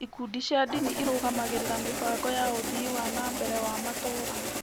Ikundi cia ndini irũgamagĩrĩra mĩbango ya ũthii wa na mbere wa matũũra.